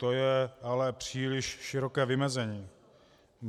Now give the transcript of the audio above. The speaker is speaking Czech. To je ale příliš široké vymezení.